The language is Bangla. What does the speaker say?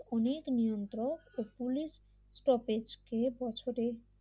অনেক নিয়ন্ত্রক ও পুলিশ স্টপেজ দিয়ে বছরে